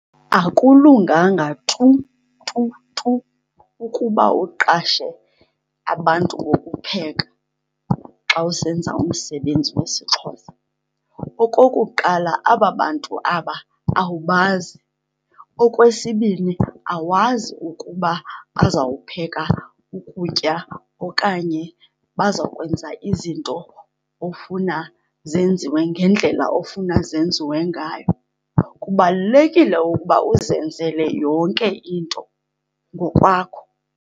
Akulunganga tu tu tu ukuba uqashe abantu bokupheka xa usenza umsebenzi wesiXhosa. Okokuqala, aba bantu aba awubazi. Okwesibini, awazi ukuba bazawupheka ukutya okanye bazawukwenza izinto ofuna zenziwe ngendlela ofuna zenziwe ngayo. Kubalulekile ukuba uzenzele yonke into ngokwakho.